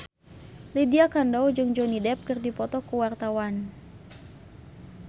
Lydia Kandou jeung Johnny Depp keur dipoto ku wartawan